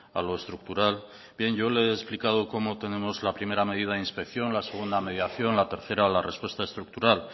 a lo estructural bien yo le he explicado cómo tenemos la primera medida de inspección la segunda mediación la tercera la respuesta estructural